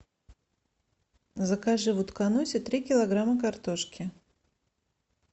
закажи в утконосе три килограмма картошки